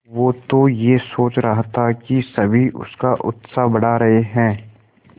वो तो यह सोच रहा था कि सभी उसका उत्साह बढ़ा रहे हैं